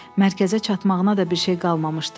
Mərkəzə çatmağına da bir şey qalmamışdı.